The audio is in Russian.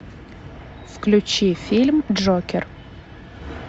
включи фильм джокер